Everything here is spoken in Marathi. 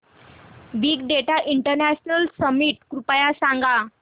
बिग डेटा इंटरनॅशनल समिट कृपया सांगा